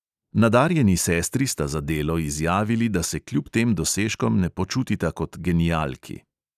Nadarjeni sestri sta za delo izjavili, da se kljub tem dosežkom ne počutita kot genialki.